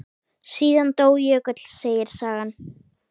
Síðan dó Jökull, segir sagan.